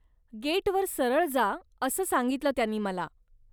गेटवर सरळ जा असं सांगितलं त्यांनी मला.